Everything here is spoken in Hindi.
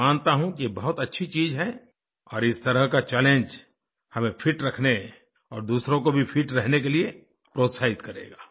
मैं मानता हूँ कि ये बहुत अच्छी चीज है और इस तरह का चैलेंज हमें फिट रखने और दूसरों को भी फिट रहने के लिए प्रोत्साहित करेगा